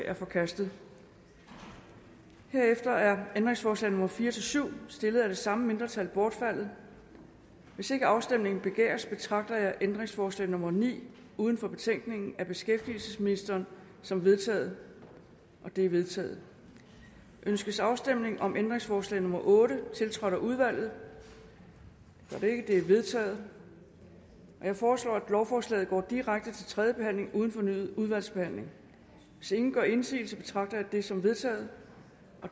er forkastet herefter er ændringsforslag nummer fire syv stillet af det samme mindretal bortfaldet hvis ikke afstemning begæres betragter jeg ændringsforslag nummer ni uden for betænkningen af beskæftigelsesministeren som vedtaget det er vedtaget ønskes afstemning om ændringsforslag nummer otte tiltrådt af udvalget det er vedtaget jeg foreslår at lovforslaget går direkte til tredje behandling uden fornyet udvalgsbehandling hvis ingen gør indsigelse betragter jeg det som vedtaget